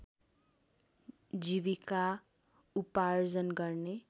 जीविका उपार्जन गर्ने